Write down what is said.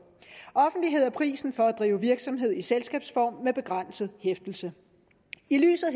offentlighed er prisen for at drive virksomhed i selskabsform med begrænset hæftelse i lyset